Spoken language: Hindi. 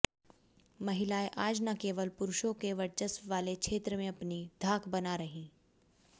महिलाएं आज न केवल पुरुषों के वर्चस्व वाले क्षेत्र में अपनी धाक बना रहीं